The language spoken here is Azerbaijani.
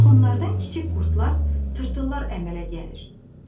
Toxumlardan kiçik qurdlar, tırtıllar əmələ gəlir.